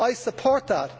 I support that.